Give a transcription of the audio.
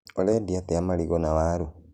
Ũrendia atĩa marigũ na waru?